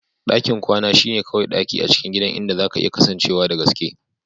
Dakin kwana shine kawai daki a cikin gidan inda zaka iya kasancewa da gaske.